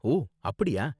ஓ, அப்படியா?